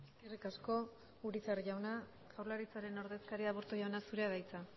eskerrik asko urizar jauna jaurlaritzaren ordezkaria aburto jauna zurea da hitza